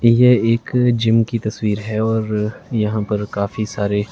ये एक जिम की तस्वीर है और यहां पर काफी सारे--